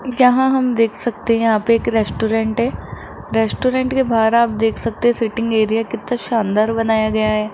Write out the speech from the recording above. यहां हम देख सकते हैं यहां पे एक रेस्टोरेंट है रेस्टोरेंट के बाहर आप देख सकते सीटिंग एरिया कितना शानदार बनाया गया है।